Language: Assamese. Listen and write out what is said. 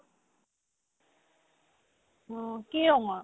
কি অং আৰ্